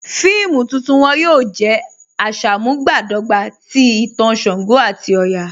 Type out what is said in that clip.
Fíìmù tuntun wọn yóò jẹ̀ àṣàmúbadọ́gbà tì ìtàn ṣàngó àti ọ̀yà.